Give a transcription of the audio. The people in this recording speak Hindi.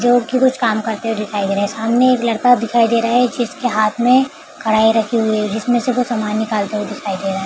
जो की कुछ काम करते हुए दिखाई दे रहे हैं सामने एक लड़का दिखाई दे रहा है जिसके हाथ में कढ़ाई रखी हुई है जिसमें से वो सामान निकालते हुए दिखाई दे रहे हैं ।